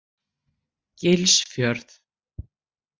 Gilsfjörð